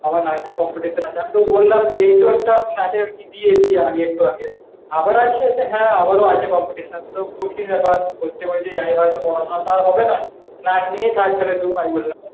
আবার নাচের competition আছে। আমি তো বললাম এই তো একটা নাছের ই দিয়েছি আগে, আবার আছে বলছে হ্যাঁ আবারও আছে competition তো কঠিন ব্যাপার প্রত্যেকবার যদি আয় হয়তো পড়াশোনা হবে না নাচ নিয়ে থাক তাহলে তুই ওই বললাম।